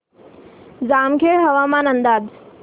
जामखेड हवामान अंदाज